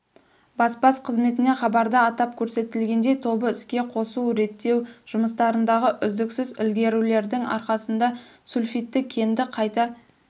баспас қызметінен хабарда атап көрсетілгендей тобы іске қосу-реттеу жұмыстарындағы үздіксіз ілгерілеудің арқасында сульфидті кенді қайта